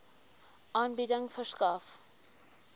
aanbieding verskaf